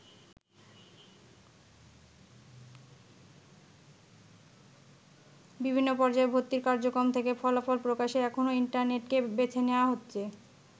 বিভিন্ন পর্যায়ে ভর্তি কার্যক্রম থেকে ফলাফল প্রকাশে এখন ইন্টারনেটকে বেছে নেয়া হচ্ছে।